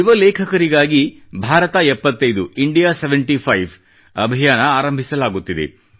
ಯುವ ಲೇಖಕರಿಗಾಗಿ ಭಾರತ ಎಪ್ಪತ್ತೈದು ಇಂಡಿಯಾ ಸೆವೆಂಟಿ ಫೈವ್ ಅಭಿಯಾನ ಆರಂಭಿಸಲಾಗುತ್ತಿದೆ